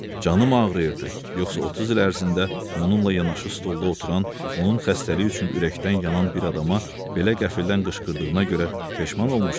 Canı ağrıyırdı, yoxsa 30 il ərzində onunla yanaşı stolda oturan, onun xəstəliyi üçün ürəkdən yanan bir adama belə qəflətən qışqırdığına görə peşman olmuşdu?